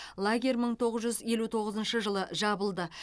лагерь мың тоғыз жүз елу тоғызыншы жылы жабылды